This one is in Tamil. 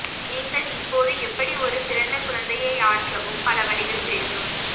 நீங்கள் இப்போது எப்படி ஒரு பிறந்த குழந்தை ஆற்றவும் பல வழிகள் தெரியும்